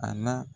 A na